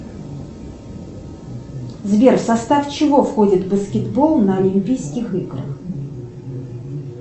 сбер в состав чего входит баскетбол на олимпийских играх